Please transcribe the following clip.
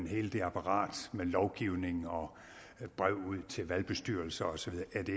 hele det apparat med lovgivning og brev ud til valgbestyrelser osv